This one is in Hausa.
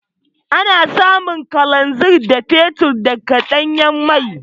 Ana samun Kalanzir da Fetur daga Ɗanyan mai.